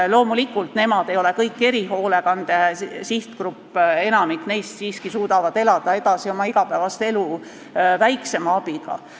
Loomulikult ei ole nad kõik erihoolekande sihtgrupp, enamik neist suudavad siiski elada oma igapäevast elu edasi väiksema abiga.